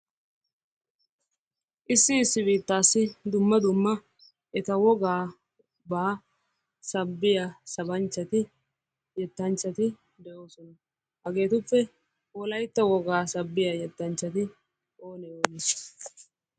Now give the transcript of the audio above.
Issi issi biittassi dumma dumma eta wogaa sabbiya sabanchchati yettanchchati de'oosona. Hageetuppe Wolaytta wogaa sabiyaa yettanchcati oone oone?